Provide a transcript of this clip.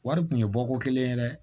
Wari tun ye bɔko kelen ye dɛ